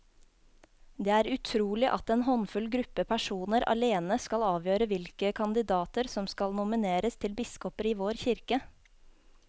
Det er utrolig at en håndfull gruppe personer alene skal avgjøre hvilke kandidater som skal nomineres til biskoper i vår kirke.